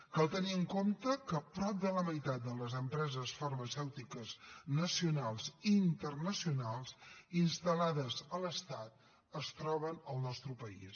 cal tenir en compte que prop de la meitat de les empreses farmacèutiques nacionals i internacionals instal·lades a l’estat es troben al nostre país